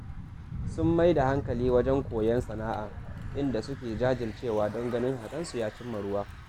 Sun mai da hankali wajen koyon sana’a, inda suke jajircewa don ganin haƙansu ya cim ma ruwa